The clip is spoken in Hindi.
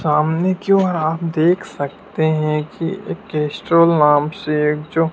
सामने की ओर आप देख सकते हैं की एक कैस्ट्रॉल नाम से जो--